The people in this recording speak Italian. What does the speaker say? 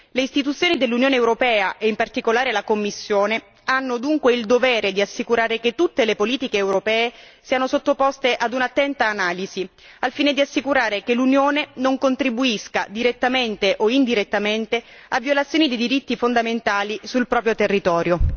Le Istituzioni dell'Unione europea, e in particolare la Commissione, hanno dunque il dovere di assicurare che tutte le politiche europee siano sottoposte a un'attenta analisi, al fine di assicurare che l'Unione non contribuisca direttamente o indirettamente a violazioni di diritti fondamentali sul proprio territorio.